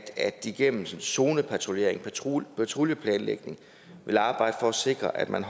de igennem zonepatruljering og patruljeplanlægning vil arbejde for at sikre at man